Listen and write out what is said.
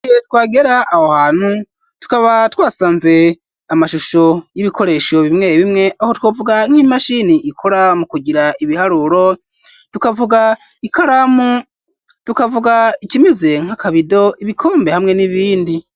Igihe twagera aho hantu tukaba twasanze amashusho y'ibikoresho bimwe bimwe aho twavuga nk'imashini ikora mu kugira ibiharuro, tukavuga ikaramu, tukavuga ikimeze nk'akabido ibikombe hamwe n'ibindi.